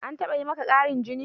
An taɓa yi maka ƙarin jini?